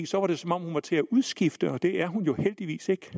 så var det som om hun var til at udskifte og det er hun jo heldigvis